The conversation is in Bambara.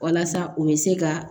Walasa u bɛ se ka